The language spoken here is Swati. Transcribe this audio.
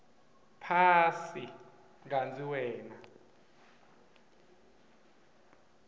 phasi kantsi wena